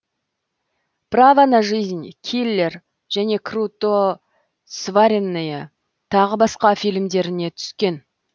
право на жизнь киллер және круто сваренные тағы басқа фильмдеріне түскен